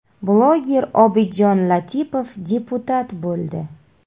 Bloger Obidjon Latipov deputat bo‘ldi.